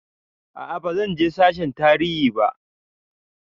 A'a bazan je sashen tarihi ba